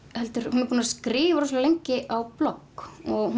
hún er búin að skrifa rosalega lengi á blogg og